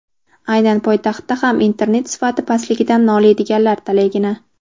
aynan poytaxtda ham internet sifati pastligidan noliydiganlar talaygina.